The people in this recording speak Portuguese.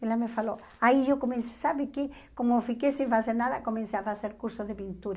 Ela me falou, aí eu comecei, sabe que como fiquei sem fazer nada, comecei a fazer curso de pintura.